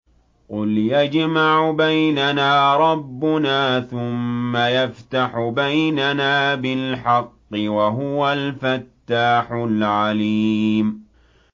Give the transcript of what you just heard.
قُلْ يَجْمَعُ بَيْنَنَا رَبُّنَا ثُمَّ يَفْتَحُ بَيْنَنَا بِالْحَقِّ وَهُوَ الْفَتَّاحُ الْعَلِيمُ